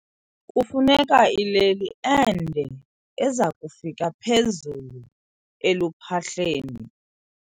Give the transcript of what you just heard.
Kufuneka ileli ende eza kufika phezulu eluphahleni.